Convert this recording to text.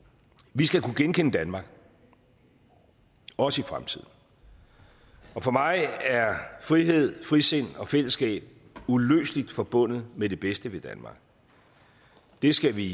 vi skal kunne genkende danmark også i fremtiden og for mig er frihed frisind og fællesskab uløseligt forbundet med det bedste ved danmark det skal vi